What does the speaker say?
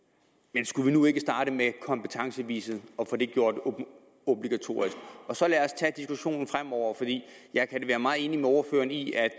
men skulle vi nu ikke starte med kompetencebeviset og få det gjort obligatorisk og så lad os tage diskussionen fremover fordi jeg kan være meget enig med ordføreren i at